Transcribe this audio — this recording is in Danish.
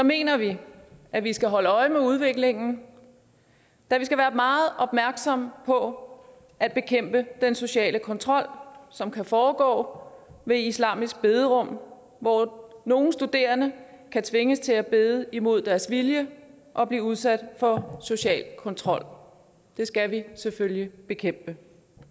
mener vi at vi skal holde øje med udviklingen da vi skal være meget opmærksomme på at bekæmpe den sociale kontrol som kan foregå i islamiske bederum hvor nogle studerende kan tvinges til at bede imod deres vilje og blive udsat for social kontrol det skal vi selvfølgelig bekæmpe